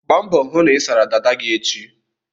Gba mbọ hụ na ị sara dada gị echi!